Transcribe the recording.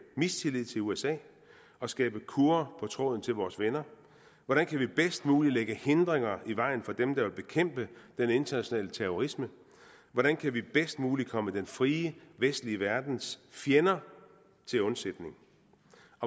mistillid til usa og skabe kurrer på tråden til vores venner hvordan kan vi bedst muligt lægge hindringer i vejen for dem der vil bekæmpe den internationale terrorisme hvordan kan vi bedst muligt komme den frie vestlige verdens fjender til undsætning